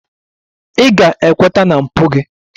Ị ga-ekweta na mpụ gị!